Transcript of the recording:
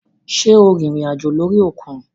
Sé o rìnrìn àjò lórí òkun?